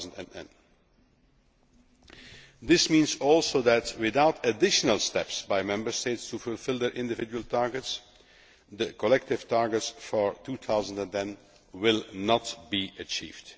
2010. This also means that, without additional steps by Member States to fulfil their individual targets, the collective targets for 2010 will not be achieved.